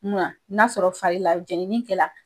N'a sɔrɔ fa y'i la jɛnini kɛla